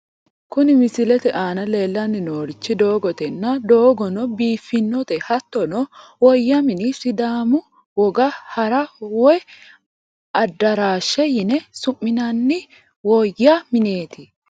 Kuni misilete aana leellanni noorichi doogotenna, doogono biiffinote hattono woyya mini sidaamu woga hara, woyi addaraashe yine su'minanni woyya mineeti.